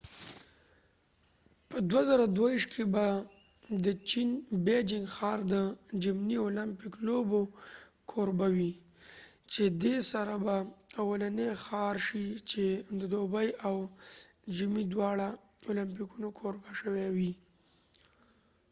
په 2022 که به د چېن بیجنګ ښار د ژمنی اولمپک لوبو کوربه وي چې دي سره به اولنی ښار شي چې د دوبی او ژمی دواړه اولمپکونو کوربه شوي وي